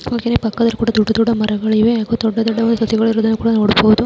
ಹಾಗೇನೇ ಪಕ್ಕದಲ್ಲಿ ದೊಡ್ಡ ದೊಡ್ಡ ಮರಗಳಿವೆ ಹಾಗೂ ದೊಡ್ಡ ದೊಡ್ಡ ಸಸಿಗಲ ಹೃದಯ ಕೂಡ ನೋಡಬಹುದು.